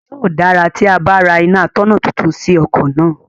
Yóò dára tí a bá ra iná atọ̀nà tuntun sí ọkọ̀ náà.